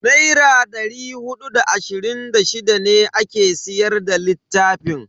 Naira da hudu da ashirin da shida ne ake siyar da littafin.